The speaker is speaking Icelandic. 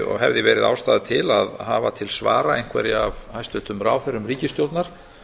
og hefði verið ástæða til að hafa til svara einhverja af hæstvirtum ráðherrum ríkisstjórnar